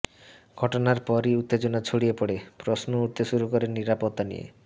ঘটনার পরই উত্তেজনা ছড়িয়ে পড়ে প্রশ্ন উঠতে শুরু করে নিরাপত্তা নিয়ে